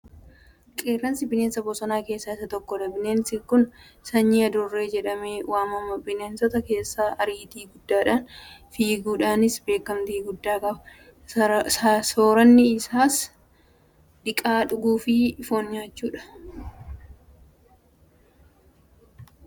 Qeerransi bineesa bosonaa keessaa isa tokkodha. Bineensi kun sanyii adurree jedhamee waamama. Bineensota keessaa ariitii guddaadhaan fiiguudhaanis beekamtii guddaa qaba. Soorranni isaas dhiiqa dhuguufi Foon nyaachuudha. Kanaaf bineensota kaan adamsee soorrata. Namoonnoo bineensa kana maaliif adamsu?